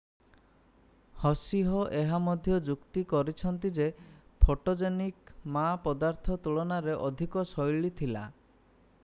ହସିହ ଏହା ମଧ୍ୟ ଯୁକ୍ତି କରିଛନ୍ତି ଯେ ଫୋଟୋଜେନିକ୍ ମା ପଦାର୍ଥ ତୁଳନାରେ ଅଧିକ ଶୈଳୀ ଥିଲା